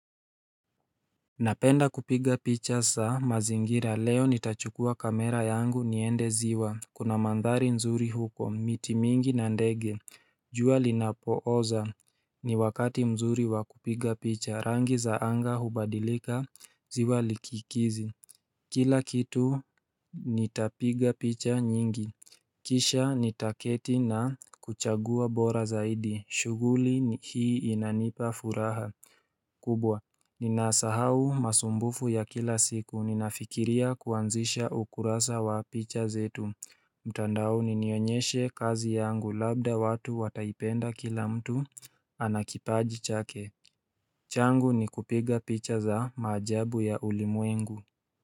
Napenda kupiga picha za mazingira leo nitachukua kamera yangu niende ziwa Kuna mandhari nzuri huko miti mingi na ndege jua linapooza ni wakati mzuri wakupiga picha rangi za anga hubadilika ziwa likikizi Kila kitu nitapiga picha nyingi Kisha nitaketi na kuchagua bora zaidi shughuli hii inanipafuraha kubwa, ninasahau masumbufu ya kila siku ninafikiria kuanzisha ukurasa wa picha zetu mtandaoni ninyonyeshe kazi yangu labda watu wataipenda kila mtu anakipaji chake changu ni kupiga picha za maajabu ya ulimwengu.